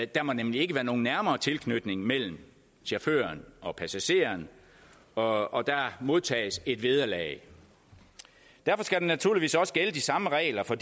der må nemlig ikke være nogen nærmere tilknytning mellem chaufføren og passageren og og der modtages et vederlag derfor skal der naturligvis også gælde de samme regler for